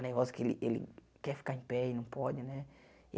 O negócio que ele ele quer ficar em pé e não pode, né?